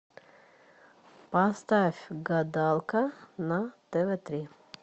поставь гадалка на тв три